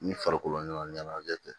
Ni farikolo ɲɛnajɛ tɛ